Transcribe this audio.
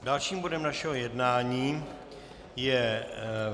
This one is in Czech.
Dalším bodem našeho jednání je